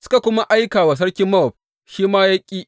Suka kuma aika wa sarkin Mowab, shi ma ya ƙi.